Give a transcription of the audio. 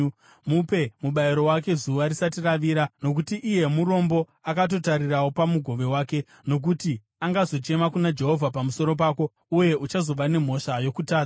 Mupe mubayiro wake zuva risati ravira, nokuti iye murombo akatotarirawo pamugove wake. Nokuti angazochema kuna Jehovha pamusoro pako, uye uchazova nemhosva yokutadza.